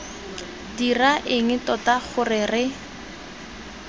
dira eng tota gore re